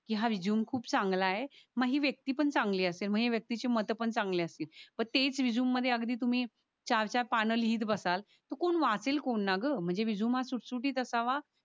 कि हा रेझूमे खूप चांगल ये मग ही व्यक्ती पण चांगली असेल मग ही व्यक्ती चि मत पण चांगली असतील. पण तेच रेझूमे मध्ये अगदी तुम्ही चार चार पान लिहित बसाल कोण वाचन कोण ना ग म्हणजे रेझूमे हा सुठ सुठीत असावा.